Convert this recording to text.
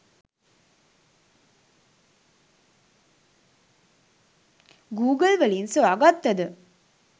Google වලින් සොයා ගත්තද